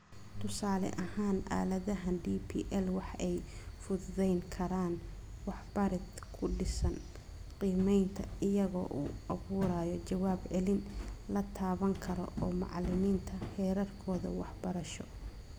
Tusaale ahaan, aaladaha DPL waxa ay fududayn karaan waxbarid ku dhisan qiimaynta iyaga oo u abuuraya jawaab celin la taaban karo oo macalimiinta heerarkooda waxbarasho.